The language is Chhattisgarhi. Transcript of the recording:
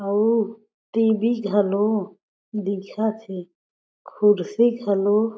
अउ टीवी घलो दिखथे कुर्सी घलो --